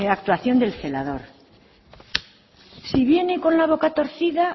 actuación del celador si viene con la boca torcida